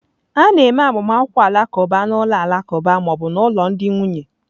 A na-eme agbamakwụkwọ Alakuba na ụlọ alakụba ma ọ bụ ụlọ ndị nwunye.